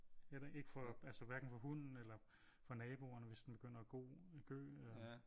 Ikke for altså hverken for hunden eller for naboerne hvis den begynder at gø